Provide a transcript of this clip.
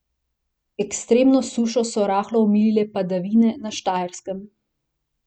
Ekstremno sušo so rahlo omilile padavine na Štajerskem.